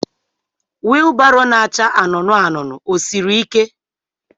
wilbaro na-acha anụnụ anụnụ ọ siri ike?